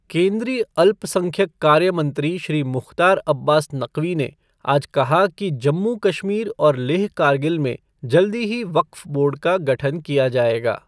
केंद्रीय अल्पसंख्यक कार्य मंत्री श्री मुख़्तार अब्बास नक़वी ने आज कहा कि जम्मू कश्मीर और लेह कारगिल में जल्दी ही वक़्फ बोर्ड का गठन किया जाएगा।